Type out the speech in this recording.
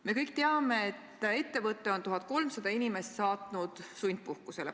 Me kõik teame, et üks ettevõte on 1300 inimest saatnud sundpuhkusele.